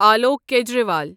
Alok Kejriwal